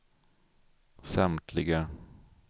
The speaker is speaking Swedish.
samtliga